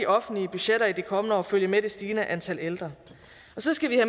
offentlige budgetter i de kommende år følge med det stigende antal ældre og så skal vi